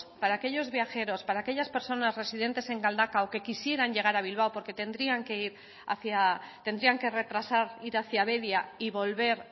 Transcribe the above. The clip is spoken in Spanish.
para aquellos viajeros para aquellas personas residentes en galdakao que quisieran llegar a bilbao porque tendrían que ir hacia tendrían que retrasar ir hacia deba y volver